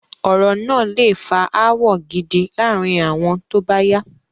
Ọ̀rọ̀ náà lé fa ááwọ̀ gidi láàárín wọn tóbáyá